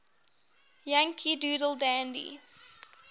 yankee doodle dandy